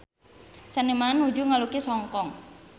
Seniman nuju ngalukis Hong Kong